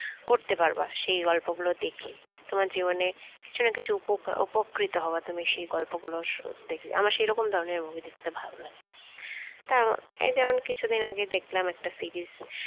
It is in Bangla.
করতে পারবা সে গল্পগুলো দেখি তোমার জীবনে কিছু না কিছু । উপ উপকৃত হবা তুমি সেই গল্প গুল সঃদেখলে আমার সেরকম ধরনের movie দেখতে ভয়াল লাগে তা এই যেমন কিছুদিন আগে দেখলাম একটা series